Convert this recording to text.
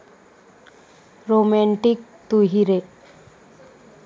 romantic 'Tu Hi रे'